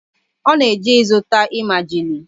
Ọ na-eje ịzụta emajili